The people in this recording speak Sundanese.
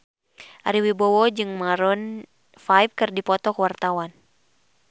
Ari Wibowo jeung Maroon 5 keur dipoto ku wartawan